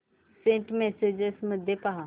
Saint messages मध्ये पहा